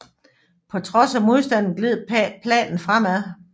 På trods af modstanden gled planen fremad